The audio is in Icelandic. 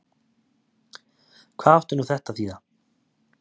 Hvað átti nú þetta að þýða!